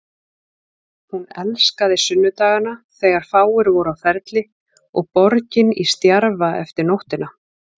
Hún elskaði sunnudagana þegar fáir voru á ferli og borgin í stjarfa eftir nóttina.